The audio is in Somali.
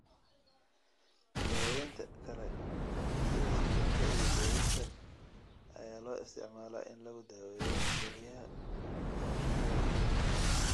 Daawaynta kale, sida sifaynta iyo beerista, ayaa loo isticmaalaa in lagu daweeyo kelyaha oo shaqada gabay.